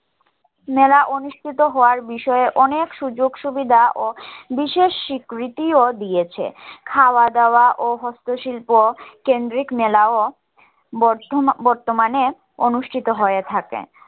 মেলা অনুষ্ঠিত হওয়ার বিষয়ে অনেক সুযোগ সুবিধা ও বিশেষ স্বীকৃতিও দিয়েছে খাওয়া দাওয়া ও হস্ত শিল্প কেন্দ্রিক মেলাও বর্তমানে অনুষ্ঠিত হয়ে থাকে